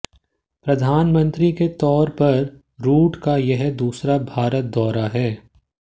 प्रधानमंत्री के तौर पर रूट का यह दूसरा भारत दौरा है